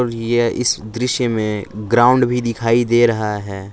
इस दृश्य में ग्राउंड भी दिखाई दे रहा है।